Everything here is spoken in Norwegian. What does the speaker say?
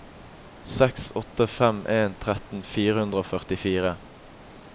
seks åtte fem en tretten fire hundre og førtifire